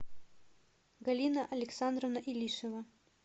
галина александровна илишина